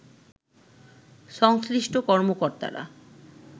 সংশ্লিষ্ট কর্মকর্তারা